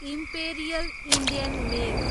imperial Indian mail